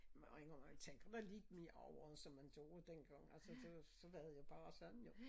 Men jeg må indrømme man tænker da lidt mere over som man gjorde dengang altså det var så var det jo bare sådan jo